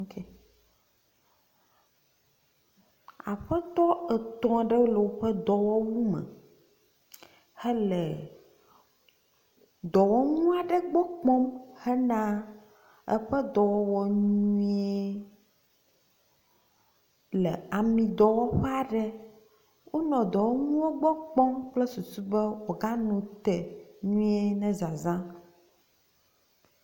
Aƒetɔ etɔ̃ aɖewo le woƒe dɔwɔwu me hele dɔwɔnu aɖe gbɔ kpɔm hena eƒe dɔwɔwɔ nyuie le amidɔwɔƒe aɖe. Wonɔ dɔwɔnuwo gbɔ kpɔm kple susu be woaganɔ te nyuie na zãzã